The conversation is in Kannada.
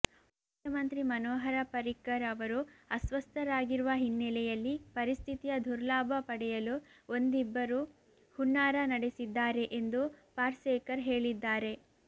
ಮುಖ್ಯಮಂತ್ರಿ ಮನೋಹರ ಪರಿಕ್ಕರ್ ಅವರು ಅಸ್ವಸ್ಥರಾಗಿರುವ ಹಿನ್ನೆಲೆಯಲ್ಲಿ ಪರಿಸ್ಥಿತಿಯ ದುರ್ಲಾಭ ಪಡೆಯಲು ಒಂದಿಬ್ಬರು ಹುನ್ನಾರ ನಡೆಸಿದ್ದಾರೆ ಎಂದು ಪಾರ್ಸೇಕರ್ ಹೇಳಿದ್ದಾರೆ